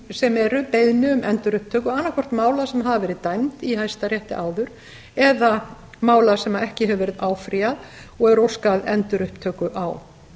sem eru beiðni um endurupptöku annað hvort mála sem hafa verið dæmd í hæstarétti áður eða mála sem ekki hefur verið áfrýjað og er óskað endurupptöku á